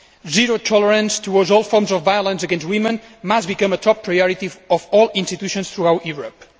Zero tolerance towards all forms of violence against women must become a top priority of all institutions throughout Europe.